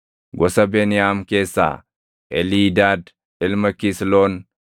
gosa Beniyaam keessaa, Eliidaad ilma Kisloon;